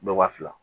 Dɔ wa fila